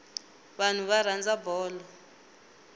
vanhu va rhandza bolo